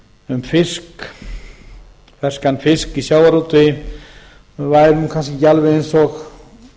um ferskan fisk í sjávarútvegi væri kannski ekki alveg eins og